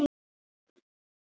Aron og Alba.